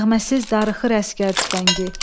Nəğməsiz darıxır əsgər tüfəngi.